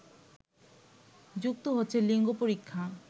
যুক্ত হচ্ছে লিঙ্গ পরীক্ষা